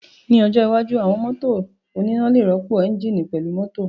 Ní ọjọ́ iwájú, àwọn mọ́tò oníná lè rọ́pò ẹ́ńjíìnì pẹ̀lú mútọ̀